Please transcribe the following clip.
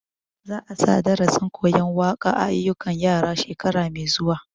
Za a sa darasin koyan waƙa a ayyukan yaran shekara mai zuwa